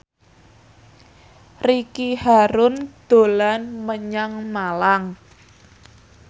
Ricky Harun dolan menyang Malang